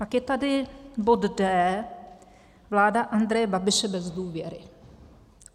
Pak je tady bod D - vláda Andreje Babiše bez důvěry.